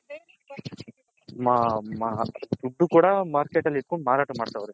ದುಡ್ಡು ಕೂಡ Market ಅಲ್ ಇಟ್ಟ ಕೊಂಡ್ ಮಾರಾಟ ಮಾಡ್ತಾವ್ರೆ.